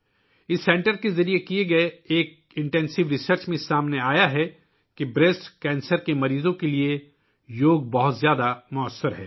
اس مرکز کی جانب سے کی گئی ایک گہری تحقیق سے یہ بات سامنے آئی ہے کہ یوگا بریسٹ کینسر کے مریضوں کے لیے بہت موثر ہے